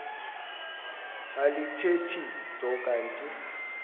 alithethi nto kanti